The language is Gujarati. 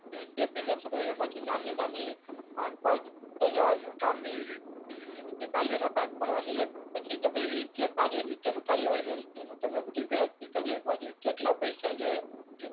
મેઈન ડેફીનેશન હોય એમાં થી નાની નાની આમ એ રીતે કાર્ય ના ભાગ પાડવાના એક પછી તમે એ જે કાર્ય નીચે નું કાર્ય હોય ને એનું તમે બધું ગણતરી કરી શકવા જોઈએ કેટલા પૈસા જોઈએ કેટલા